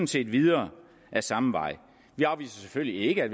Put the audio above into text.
set videre ad samme vej vi afviser selvfølgelig ikke at